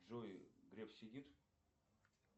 джой греф сидит